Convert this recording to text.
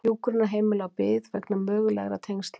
Hjúkrunarheimili á bið vegna mögulegra tengsla